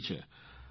જરૂરી છે